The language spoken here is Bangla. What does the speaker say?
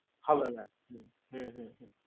হবে না হু হু